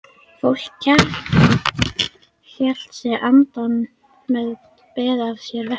Fólk hélt sig innandyra, beið af sér veðrið.